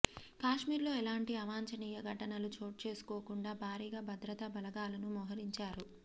కశ్మీర్లో ఎలాంటి అవాంఛనీయ ఘటనలు చోటు చేసుకోకుండా భారీగా భద్రతా బలగాలను మొహరించారు